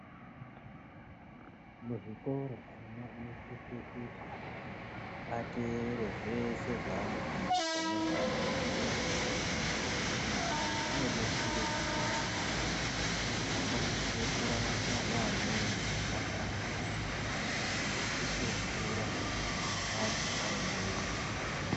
Muzvikora ana anosise kuti ateerere zvese zvaanofundiswa nezvaanoronzerwa. Izvi zvinodetsere kuti akwanise kurarama neamweni zvakanaka nekutokura antu aine untu.